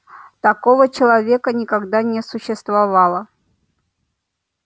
такого человека никогда не существовало